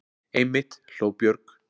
Einmitt, hló Björg.